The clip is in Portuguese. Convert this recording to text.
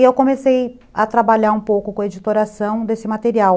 E eu comecei a trabalhar um pouco com a editoração desse material.